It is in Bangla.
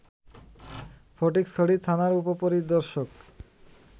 ফটিকছড়ি থানার উপ-পরিদর্শক